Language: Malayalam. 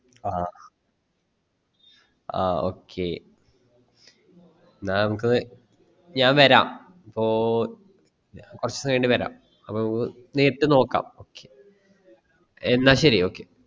ആ ആ okay എന്നാ നമുക്ക് ഞാൻ വരാം അപ്പൊ കൊർച് കയ്ഞ്ഞിട്ട് വരാം അപ്പൊ നമുക്ക് നേരിട്ട് നോക്കാം okay എന്നാ ശെരി okay